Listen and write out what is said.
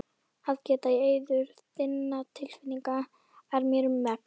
Að geta í eyður þinna tilfinninga er mér um megn.